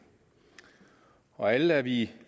og alle er vi i